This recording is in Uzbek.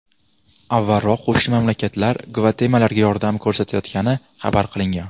Avvalroq, qo‘shni mamlakatlar Gvatemalaga yordam ko‘rsatayotgani xabar qilingan.